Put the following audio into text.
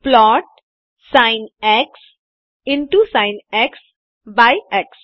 plot by x